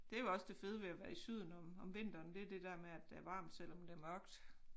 Det jo også det fede ved at være i syden om om vinteren det er det der med at der er varmt selvom det mørkt